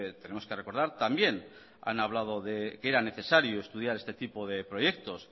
tenemos que recordar también han hablado que era necesario estudiar este tipo de proyectos